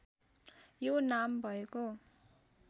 यो नाम भएको